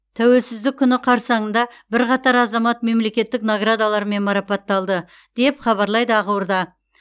тәуелсіздік күні қарсаңында бірқатар азамат мемлекеттік наградалармен марапатталды деп хабарлайды ақорда